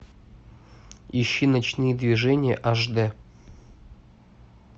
ищи ночные движения аш д